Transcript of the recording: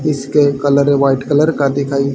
इसके colour white colour का दिखाई--